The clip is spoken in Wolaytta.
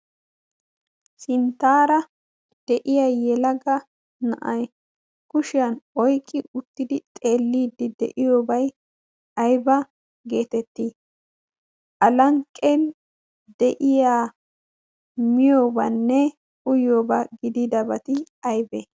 sinttaara de'iya yela ga na'ai yushiyan oyqqi uttidi xeelliiddi de'iyoobay aiba geetettii alanqqen de'iya miyoobaanne uyyoobaa gidi dabati aybe?